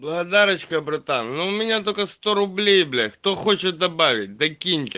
благодарочка братан ну у меня только сто рублей бля кто хочет добавить докиньте